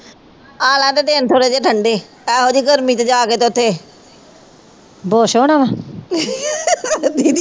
ਆ ਲੈਣਦੇ ਦਿਨ ਥੋੜੇ ਜਿਹੇ ਠੰਡੇ ਇਹੋ ਜੀ ਗਰਮੀ ਚ ਜਾ ਕੇ ਤੇ ਉੱਥੇ ਬੇਹੋਸ਼ ਹੋਣਾ ਵਾ